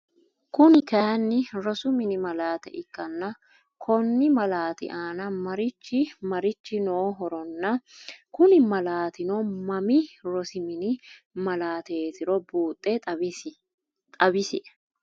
Kuni kaayiin rosu mini malaate ikkanna Konni malaati aana marichchi marichchi nohoronna Kuni malaatino Mami rosi mini malaateetiro buuxe xawisie?